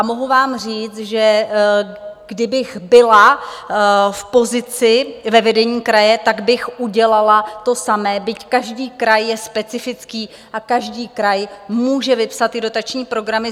A mohu vám říct, že kdybych byla v pozici ve vedení kraje, tak bych udělala to samé, byť každý kraj je specifický a každý kraj může vypsat ty dotační programy.